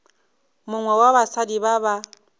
mongwe wa basadi ba ba